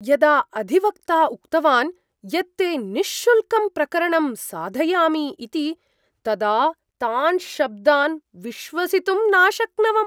यदा अधिवक्ता उक्तवान् यत् ते निःशुल्कं प्रकरणं साधयामि इति तदा तान् शब्दान् विश्वसितुं नाशक्नवम्।